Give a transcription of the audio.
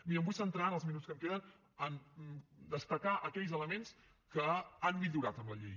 miri em vull centrar en els minuts que em queden en destacar aquells elements que han millorat en la llei